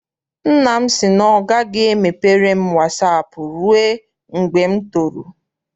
Nna m sị na ọ gaghị emepere m wasaapụ rụe mgbe m toro.